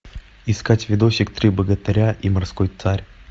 искать видосик три богатыря и морской царь